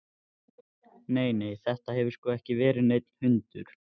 Nei, nei, þetta hefur sko ekki verið neinn hundur.